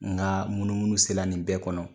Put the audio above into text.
N ka munumunu sela nin bɛɛ kɔnɔ